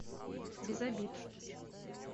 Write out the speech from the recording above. без обид